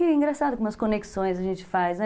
E é engraçado como as conexões a gente faz, né?